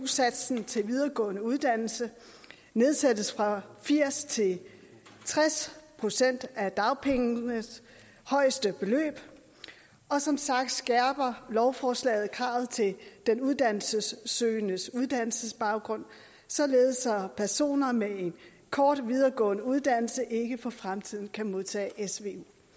satsen til videregående uddannelse nedsættes fra firs til tres procent af dagpengenes højeste beløb og som sagt skærper lovforslaget kravet til den uddannelsessøgendes uddannelsesbaggrund således at personer med en kort videregående uddannelse ikke for fremtiden kan modtage svu